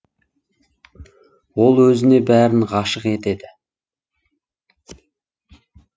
ол өзіне бәрін ғашық етеді